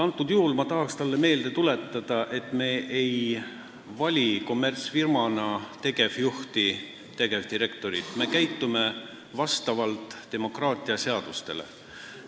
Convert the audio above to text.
Praegusel juhul ma tahaks talle meelde tuletada, et me ei vali kommertsfirma tegevjuhti või -direktorit – me käitume vastavalt demokraatia seadustele.